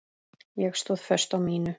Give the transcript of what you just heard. Ég stóð föst á mínu.